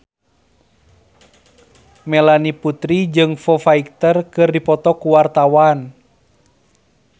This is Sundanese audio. Melanie Putri jeung Foo Fighter keur dipoto ku wartawan